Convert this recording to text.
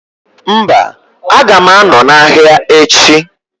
Mba, aga ma anọ na ahịa echi